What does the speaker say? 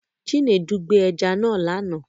Chinedu gbẹ ẹja náà lánàá